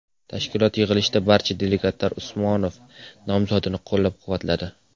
Tashkilot yig‘ilishida barcha delegatlar Usmonov nomzodini qo‘llab-quvvatladi.